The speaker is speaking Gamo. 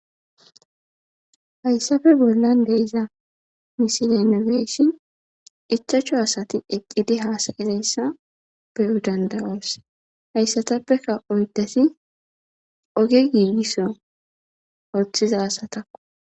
Haysafe bollan de'iza misilean nu be'ashen ichachu asati eqidi hasayizaysa be'eo danda'aoso haysatafekka oydati oge gigiso othiza asatakko